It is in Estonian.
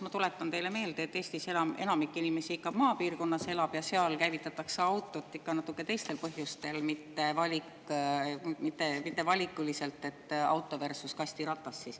Ma tuletan teile meelde, et Eestis elab inimesi ka maapiirkondades ja seal käivitatakse autod ikka natuke teistel põhjustel, mitte valikuliselt auto versus kastiratas.